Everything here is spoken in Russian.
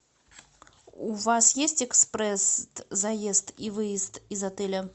у вас есть экспресс заезд и выезд из отеля